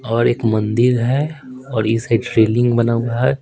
और एक मंदिर है और इस साइड रेलिंग बना हुआ है।